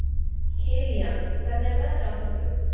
Kilían, hvernig er veðrið á morgun?